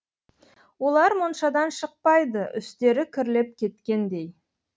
олар моншадан шықпайды үстері кірлеп кеткендей